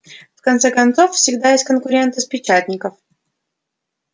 в конце концов всегда есть конкуренты с печатников